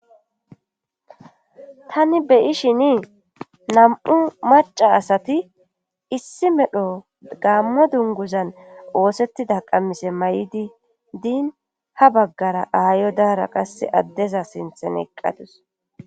Tani beyi shini nam'u maca asati issi medho gaammo dunguzan oosettida qammise may'idi diin ha baggara aayo daara qasse addeza sinthen eqqatus.